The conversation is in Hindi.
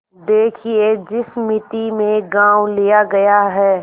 देखिए जिस मिती में गॉँव लिया गया है